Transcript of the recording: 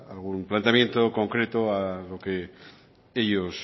algún planteamiento concreto a lo que ellos